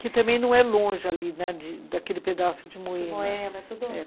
que também não é longe ali, né, daquele pedaço de moída.